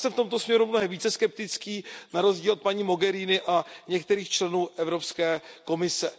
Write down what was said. Já jsem v tomto směru mnohem více skeptický na rozdíl od paní Mogheriniové a některých členů Evropské komise.